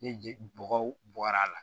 Ni je bɔgɔ bɔr'a la